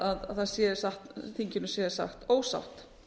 að þinginu sé sagt ósatt